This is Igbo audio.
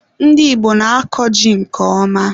Ndị Igbo na-akọ ji nke ọma.